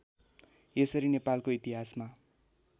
यसरी नेपालको इतिहासमा